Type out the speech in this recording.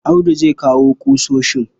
Audu zai kawo ƙusoshin.